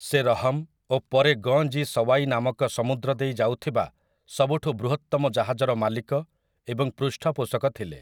ସେ ରହମ୍ ଓ ପରେ 'ଗଞ୍ଜ ଇ ସୱାଇ' ନାମକ ସମୁଦ୍ର ଦେଇ ଯାଉଥିବା ସବୁଠୁ ବୃହତ୍ତମ ଜାହାଜର ମାଲିକ ଏବଂ ପୃଷ୍ଠପୋଷକ ଥିଲେ ।